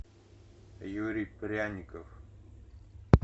юрий пряников